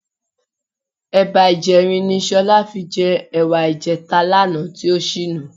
Ẹ̀ba ìjẹrin ni Sọlá fi jẹ ẹ̀wà ìjẹta lánàá tí ó ṣínu.